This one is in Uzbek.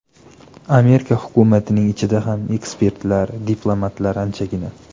Amerika hukumatining ichida ham ekspertlar, diplomatlar anchagina.